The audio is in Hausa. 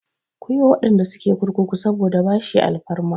Ku yi wa waɗanda suke kurkuku saboda bashi alfarma!